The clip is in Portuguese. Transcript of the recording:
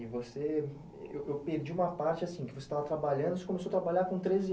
E você... Eu perdi uma parte, assim, que você estava trabalhando, você começou a trabalhar com treze